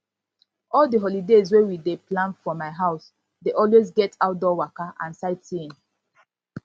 all di holidays wey we dey plan for my house dey always get outdoor waka and sightseeing